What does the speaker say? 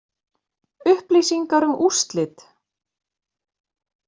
Upplýsingar um úrslit